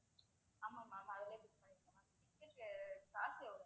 ஆமா ma'am அதிலயே book பண்ணிருங்க ma'am ticket க்கு காசு எவ்வளவு ma'am